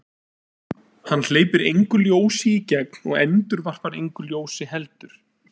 Hann hleypir engu ljósi í gegn og endurvarpar engu ljósi heldur.